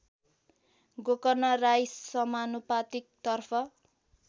गोकर्ण राई समानुपातिकतर्फ